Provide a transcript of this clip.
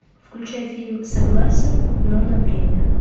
включай фильм согласен но на время